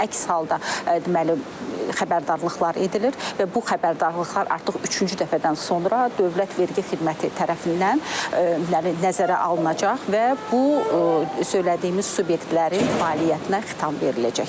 Əks halda deməli xəbərdarlıqlar edilir və bu xəbərdarlıqlar artıq üçüncü dəfədən sonra dövlət vergi xidməti tərəfindən nəzərə alınacaq və bu söylədiyimiz subyektlərin fəaliyyətinə xitam veriləcəkdir.